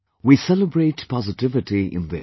We celebrate positivity in this